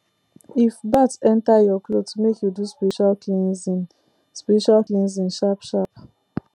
if bat enter your cloth make you do spiritual cleansing spiritual cleansing sharpsharp